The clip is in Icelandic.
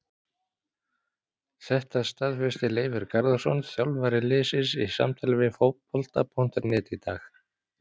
Þetta staðfesti Leifur Garðarsson þjálfari liðsins í samtali við Fótbolta.net í dag.